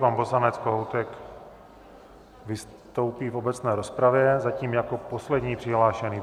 Pan poslanec Kohoutek vystoupí v obecné rozpravě, zatím jako poslední přihlášený.